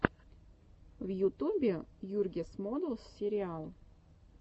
в ютюбе югирс модэлс сериал